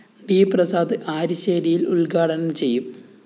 D Prasad ആരിശ്ശേരില്‍ ഉദ്ഘാടനം ചെയ്യും